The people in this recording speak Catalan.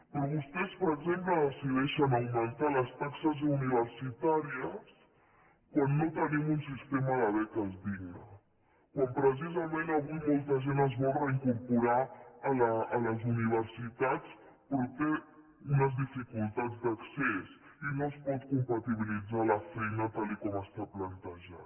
però vostès per exemple decideixen augmentar les taxes universitàries quan no tenim un sistema de beques digne quan precisament avui molta gent es vol reincorporar a les universitats però té unes dificultats d’accés i no es pot compatibilitzar la feina tal com està plantejat